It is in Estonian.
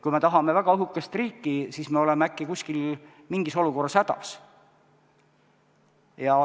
Kui me tahame väga õhukest riiki, siis me oleme äkki mingis olukorras hädas.